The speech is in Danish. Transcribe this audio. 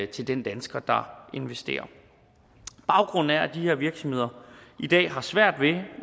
til den dansker der investerer baggrunden er at de her virksomheder i dag har svært ved